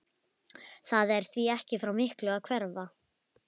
Það er því ekki frá miklu að hverfa.